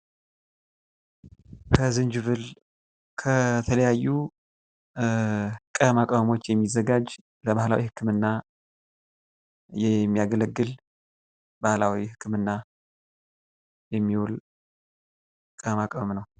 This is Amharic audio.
ከዝንጅብል ከተለያዩ ቅመማ ቅመሞች የሚዘጋጅ ለባህላዊ ህክምና የሚያገለግል ባህላዊ ህክምና የሚውል ቅመማ ቅመም ነው።